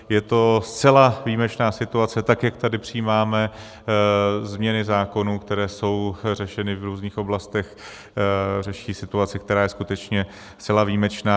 Je to zcela výjimečná situace, tak jak tady přijímáme změny zákonů, které jsou řešeny v různých oblastech, řeší situaci, která je skutečně zcela výjimečná.